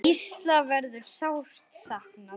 Gísla verður sárt saknað.